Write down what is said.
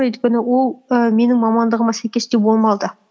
өйткені ол і менің мамандығыма сәйкес те болмады